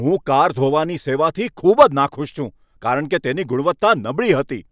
હું કાર ધોવાની સેવાથી ખૂબ જ નાખુશ છું કારણ કે તેની ગુણવત્તા નબળી હતી.